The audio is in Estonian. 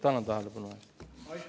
Tänan tähelepanu eest!